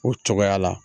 O cogoya la